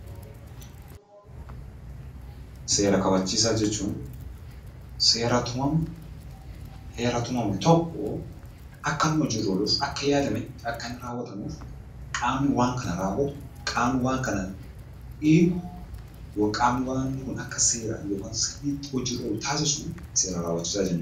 Seera kabachiisaa jechuun seera tumamu, heera tumame tokkoo akkanni hojiirra ooluuf akka yaadametti akka inni raawwatamuuf qaamni waan kana raawwatu, qaamni waan kana eegu, qaamni waan kun akka seeraan yokiin sirriitti hojiirra oolu taasisu seera raawwachiisaa jenna.